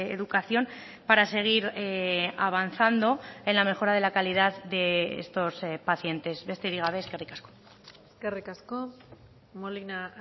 educación para seguir avanzando en la mejora de la calidad de estos pacientes besterik gabe eskerrik asko eskerrik asko molina